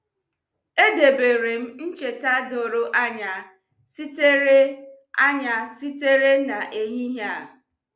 E deberem ncheta doro anya sitere anya sitere n'ehihie a.